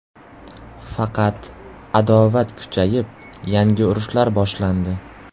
Faqat adovat kuchayib, yangi urushlar boshlandi.